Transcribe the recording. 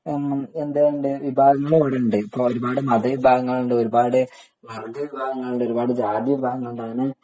വിഭാഗങ്ങൾ ഇവിടെയുണ്ട് ഒരുപാട് മത വിഭാഗങ്ങൾ ഉണ്ട് ഒരുപാട് വർഗ വിഭാഗങ്ങളുണ്ട് ഒരുപാട് ജാതി വിഭാഗങ്ങളുണ്ട്